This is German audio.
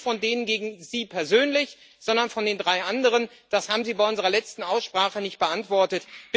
Ich rede nicht von den gegen Sie persönlich, sondern von den drei anderen. Das haben Sie bei unserer letzten Aussprache nicht beantwortet.